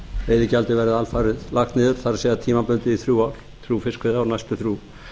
veiðigjaldið verði alfarið lagt niður það er tímabundið í næstu þrjú